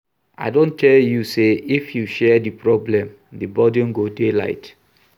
I don tell you sey if you share di problem, the burden go dey light.